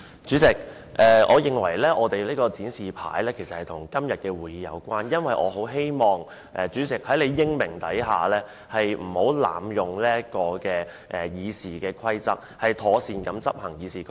主席，我認為我們的展示品與今天的會議有關，因為我很希望主席能英明領導，不要濫用《議事規則》，以及要妥善執行《議事規則》。